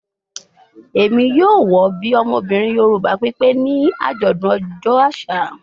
Emi yoo wọ bi ọmọbirin Yoruba pipe ni ajọdun ọjọ aṣa